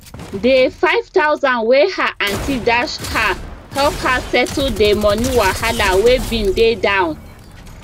dey 5000 wey her aunty dash her help her settle dey money wahala wey bin dey down